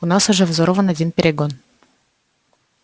у нас уже взорван один перегон